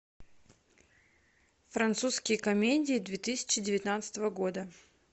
французские комедии две тысячи девятнадцатого года